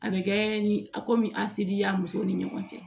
A bɛ kɛ ni a komi a sidi y'a muso ni ɲɔgɔn cɛ